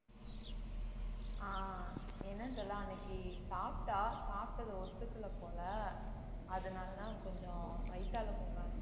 ஆஹ் என்னன்னு தெரியலே அன்னைக்கு சாப்பிட்டா சாப்பிட்டதை ஒத்துக்கல போல அதனாலதான் கொஞ்சம் வயித்தால போக ஆரம்பிச்சிருச்சு